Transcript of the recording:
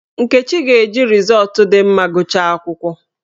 Nkechi ga-eji rịzọọtụ dị mma gụchaa akwụkwọ.